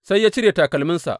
Sai ya cire takalminsa.